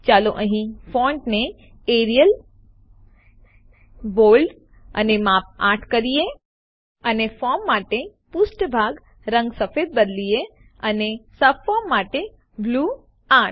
ચાલો અહીં ફોન્ટને એરિયલ બોલ્ડ અને માપ ૮ કરીએ અને ફોર્મ માટે પુષ્ઠભાગ રંગ સફેદ બદલીએ અને સબફોર્મ માટે બ્લૂ ૮